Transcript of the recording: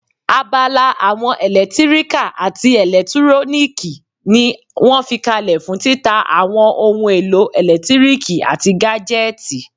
Abala àwọn ẹlẹtíríkà àti ẹlẹtúróníìkì ní wọ́n fi kalẹ̀ fún títa àwọn ohun èlò ẹlẹtíríkì àti gájẹ́tìì